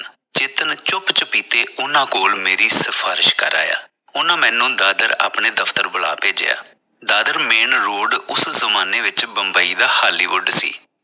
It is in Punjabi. ਚੇਤਨ ਚੁੱਪ ਚੁਪੀਤੇ ਉਨ੍ਹਾਂ ਕੋਲ ਮੇਰੀ ਸਿਫਾਰਸ਼ ਕਰ ਆਇਆ। ਉਨ੍ਹਾਂ ਮੈਨੂੰ ਦਾਦਰ ਆਪਣੇ ਦਫਤਰ ਬੁਲਾ ਭੇਜਿਆ ਦਾਦਰ main road ਉਸ ਜਮਾਨੇ ਵਿਚ ਬੰਬਈ ਦਾ hollywood ਸੀ।